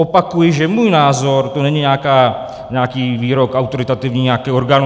Opakuji, že můj názor - to není nějaký výrok autoritativní nějakého orgánu.